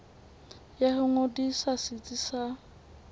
ya ho ngodisa setsi sa